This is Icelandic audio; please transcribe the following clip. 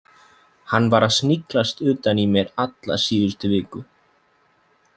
Hann var að sniglast utan í mér alla síðustu viku.